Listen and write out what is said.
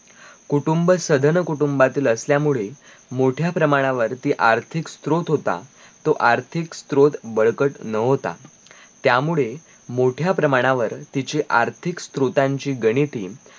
कुटुंब सदन कुटुंबातिल असल्यामुळे मोठ्या प्रमाणावरती आर्थिक स्रोत होता तो आर्थिक स्रोत बडकट नवता त्यामुळे मोठ्या प्रमाणावर तिचे आर्थिक स्रोतांची गणिती